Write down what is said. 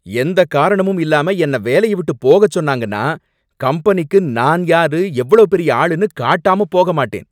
எந்தக் காரணமும் இல்லாம என்னை வேலைய விட்டு போக சொன்னாங்கன்னா, கம்பெனிக்கு நான் யாரு எவ்ளோ பெரிய ஆளுனு காட்டாம போக மாட்டேன்.